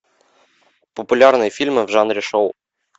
популярные фильмы в жанре шоу